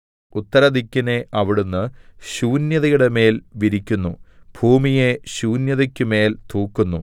ഉത്തരദിക്കിനെ അവിടുന്ന് ശൂന്യതയുടെമേൽ വിരിക്കുന്നു ഭൂമിയെ ശൂന്യതയ്ക്കുമേൽ തൂക്കുന്നു